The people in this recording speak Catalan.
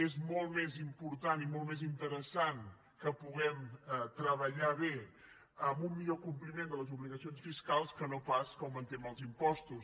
és molt més important i molt més interessant que puguem treballar bé en un millor compliment de les obligacions fiscals que no pas que augmentem els impostos